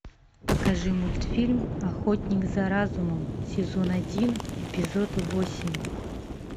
покажи мультфильм охотник за разумом сезон один эпизод восемь